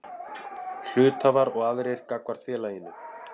Hluthafar og aðrir gagnvart félaginu.